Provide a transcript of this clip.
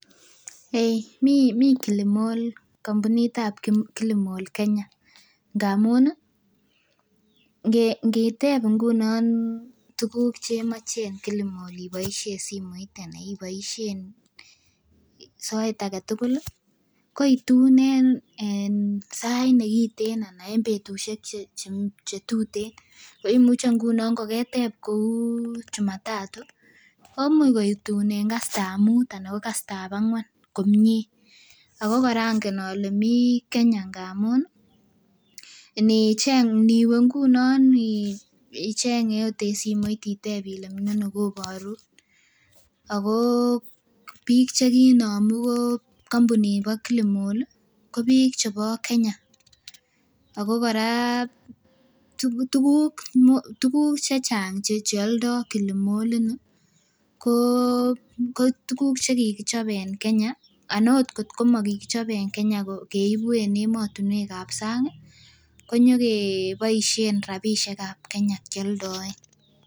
Eei mii Kilimall kampunit ab Kilimall Kenya ngamun ih ngiteb ngunon tuguk chemoche en Kilimall iboisien simoit ana iboisien soet aketugul ih ko itun en sait nekiten ana en betusiek chetuten koimuche ngunon koketep kou jumatatu komuch koitun en kasit ab mut ana ko kasit ab ang'wan komie ako kora ongen ole mii Kenya amun inicheng niwe ngunon icheng ot en simoit itep ile miono koborun ako biik chekinomu ko kampunit nibo Kilimall ko biik chebo Kenya ako kora tuguk chechang cheoldo Kilimall ini ko kotuguk chekikichob en Kenya ana ot kotko mokichop en Kenya keibu en emotinwek ab sang ih konyokeboisien rapisiek ab Kenya kioldoen